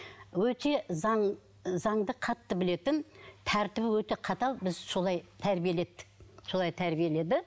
өте заңды қатты білетін тәртібі өте қатал бізді солай тәрбиеледі солай тәрбиеледі